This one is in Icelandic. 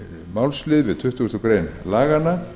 málslið við tuttugustu greinar laganna